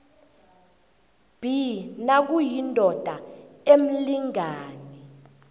b nakuyindoda emlingani